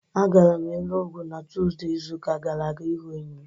A gara m Enugwu na Tuzdee izu ụka gara aga ịhụ enyi m